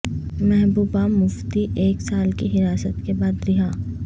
محبوبہ مفتی ایک سال کی حراست کے بعد رہا